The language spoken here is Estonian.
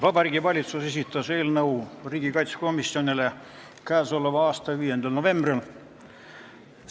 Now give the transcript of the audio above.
Vabariigi Valitsus esitas eelnõu riigikaitsekomisjonile k.a 5. novembril.